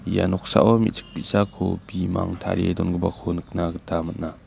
ia noksao me·chik bi·sako bimang tarie dongipako nikna gita man·a.